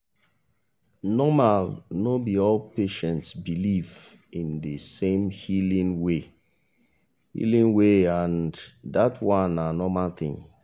normal no be all patients believe in de same healing way healing way and that one na normal thing